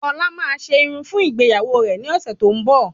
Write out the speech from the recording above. Ọlá máa se Irun fún ìgbéyàwó rẹ ni ọsẹ tó ń bo